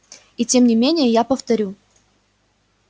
и тем не менее я повторю